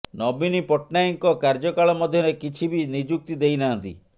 ନବୀନ ପଟ୍ଟନାୟକଙ୍କ କାର୍ଯ୍ୟକାଳ ମଧ୍ୟରେ କିଛି ବି ନିଯୁକ୍ତି ଦେଇନାହାନ୍ତି